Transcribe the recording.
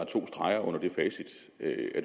to streger under det facit at